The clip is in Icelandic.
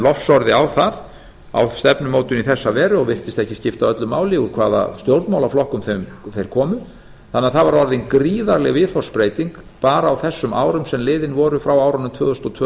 lofsorði á það á stefnumótun í þessa veru og virtist ekki skipta öllu máli úr hvaða stjórnmálaflokkum þeir komu þannig að það var orðin gríðarleg viðhorfsbreyting bara á þessum árum sem liðin voru frá árunum tvö þúsund og tvö tvö þúsund og